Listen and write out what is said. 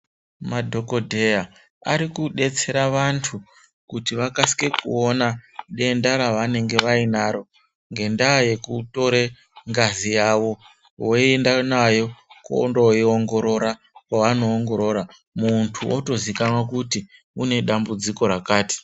Madhokodheya arikudetsera vantu kuti vakasike kuine denda ravanenge vainaro ngenda yekutore ngazi yavo woenda nayo kondoiongorora kwavanoongorora muntu otozikanwa kuti une dambudziko rakati.